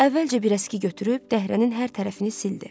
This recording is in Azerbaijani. Əvvəlcə bir əski götürüb dəhrənin hər tərəfini sildi.